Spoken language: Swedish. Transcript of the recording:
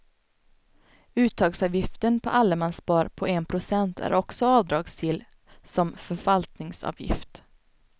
Uttagsavgiften på allemansspar på en procent är också avdragsgill som förvaltningsavgift.